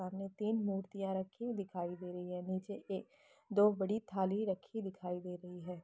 सामने तीन मूर्तियाँ रखी दिखाई दे रही हैं नीचे एक दो बड़ी थाली रखी दिखाई दे रही है।